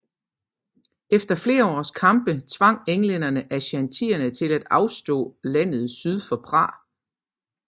Efter flere års kampe tvang englænderne aschantierne til at afstå landet syd for Prah